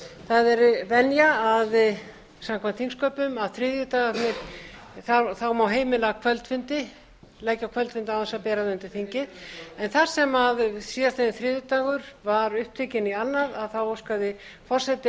það er venja samkvæmt þingsköpum að á þriðjudögum má heima kvöldfundi leggja á kvöldfundi án þess að bera það undir þingið þar sem síðastliðinn þriðjudagur var upptekinn í annað óskaði forseti